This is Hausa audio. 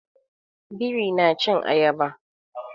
Biri na cin Ayaba.